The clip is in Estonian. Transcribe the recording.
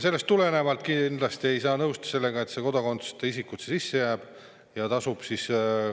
Sellest tulenevalt ei saa kindlasti nõustuda sellega, et kodakondsuseta isikud siia sisse jäävad.